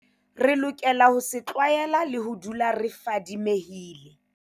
Re lokela ho se tlwaela le ho dula re fadimehile.